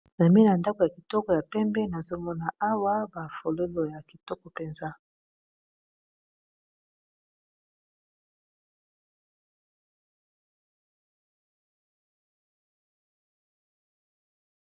Pembeni ya ndako ya kitoko ya pembe nazomona awa ba fololo ya kitoko penza